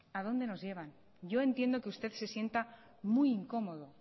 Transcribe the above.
a dónde nos lleva yo entiendo que usted se sienta muy incómodo